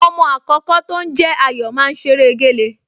Ọmọọmọ àkọ́kọ́ tó ń jẹ́ Ayọ̀ máa ń ṣeré géle